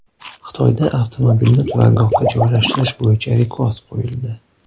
Xitoyda avtomobilni turargohga joylashtirish bo‘yicha rekord qo‘yildi .